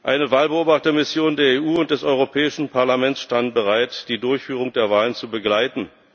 Eine Wahlbeobachtermission der EU und des Europäischen Parlaments stand bereit, die Durchführung der Wahlen zu begleiten.